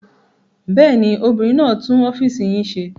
Bẹ́ẹ̀ ni, obìnrin náà tún ọ́fíísì yín ṣe.